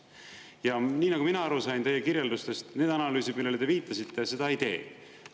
Ja nii nagu mina aru sain teie kirjeldustest, need analüüsid, millele te viitasite, seda ei tee.